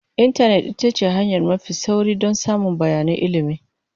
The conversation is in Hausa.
Intanet ita ce hanya mafi sauri don samun bayanan ilimi.